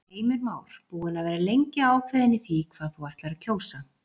Heimir Már: Búin að vera lengi ákveðin í því hvað þú ætlar að kjósa?